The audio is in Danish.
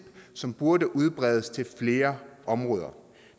som burde udbredes til flere områder